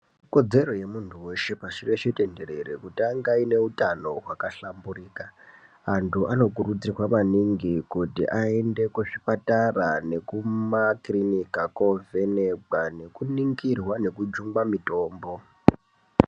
Ikodzero yemuntu weshe pashi reshe tenderere kuti ange aine utano hwakahlamburika antu anokurudzirwa maningi kuti aende kuzvipatara nekumakirinika kovhenekwa nekuningirwa nekujungwa mitombo.